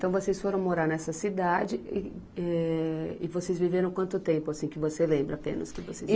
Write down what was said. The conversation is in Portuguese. Então, vocês foram morar nessa cidade e, eh, e vocês viveram quanto tempo, assim, que você lembra apenas? Que vocês